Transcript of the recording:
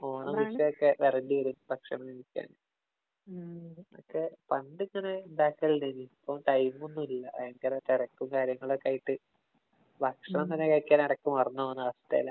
ഓണവും, വിഷുവുമൊക്കെ വരേണ്ടി വരും ഭക്ഷണം കഴിക്കാന്‍. ഒക്കെ പണ്ടിങ്ങനെ ഒണ്ടാക്കാല്‍ ഉണ്ടായിരുന്നു. ഇപ്പം ടൈമൊന്നും ഇല്ല. ഭയങ്കര തിരക്കും, കാര്യങ്ങളുമായിട്ട് ഭക്ഷണം ഒന്നും കഴിക്കാന്‍ ഇടയ്ക്ക് മറന്നു പോന്ന അവസ്ഥയിലാ.